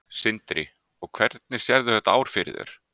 Sindri: Og hvernig sérðu þetta ár fyrir þér?